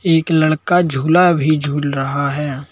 एक लड़का झूला भी झूल रहा है।